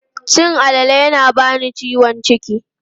Cin alale yana bani ciwon ciki.